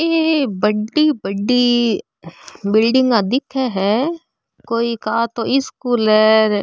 ई बड़ी बड़ी बिल्डिंगा दिख है कोई का तो स्कूल है र।